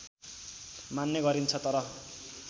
मान्ने गरिन्छ तर